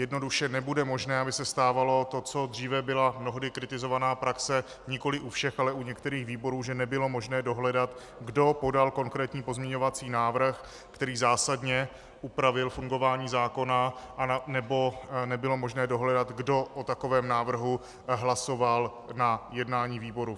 Jednoduše nebude možné, aby se stávalo to, co dříve byla mnohdy kritizovaná praxe, nikoliv u všech, ale u některých výborů, že nebylo možné dohledat, kdo podal konkrétní pozměňovací návrh, který zásadně upravil fungování zákona, nebo nebylo možné dohledat, kdo o takovém návrhu hlasoval na jednání výboru.